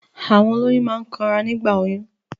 Àwọn òlòyún máa ń kàn rá nígbà òyún